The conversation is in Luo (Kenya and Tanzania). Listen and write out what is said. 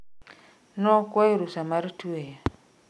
Nokwayo rusa mar tweyo